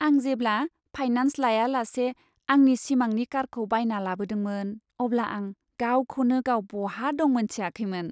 आं जेब्ला फाइनान्स लाया लासे आंनि सिमांनि कारखौ बायना लाबोदोंमोन अब्ला आं गावखौनो गाव बहा दं मोनथियाखैमोन।